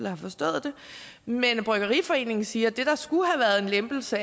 har forstået det mens bryggeriforeningen siger at det der skulle have været en lempelse